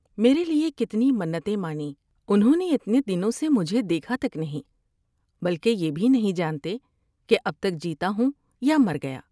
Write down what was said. میرے لیے کتنی منتیں مانیں ، انھوں نے اتنے دنوں سے مجھے دیکھا تک نہیں بلکہ یہ بھی نہیں جانتے کہ اب تک جیتا ہوں یا مر گیا ۔